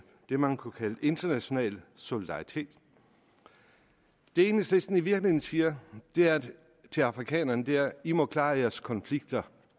det man kunne kalde international solidaritet det enhedslisten i virkeligheden siger til afrikanerne er i må klare jeres konflikter